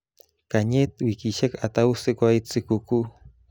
Kanyet wikishek atau sikoit sikukuu